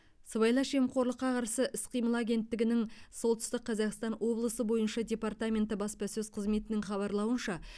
сыбайлас жемқорлыққа қарсы іс қимыл агенттігінің солтүстік қазақстан облысы бойынша департаменті баспасөз қызметінің хабарлауынша